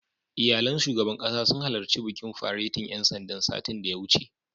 Iyalan shugaban ƙasa sun halarci bikin faretin ƴan sandan, satin da ya wuce.